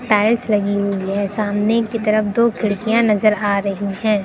Tiles लगी हुई हैं। सामने की तरफ दो खिड़कियां नजर आ रही हैं।